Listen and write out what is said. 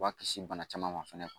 U b'a kisi bana caman ma fɛnɛ